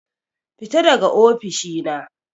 Fita daga ofishi na.